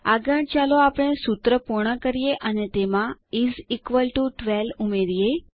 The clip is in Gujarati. આગળ ચાલો આપણે સૂત્ર પૂર્ણ કરીએ અને તેમાં ઇસ ઇક્વલ ટીઓ 12 ઉમેરીએ